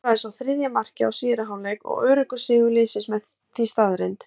Hann skoraði svo þriðja markið í síðari hálfleik og öruggur sigur liðsins því staðreynd.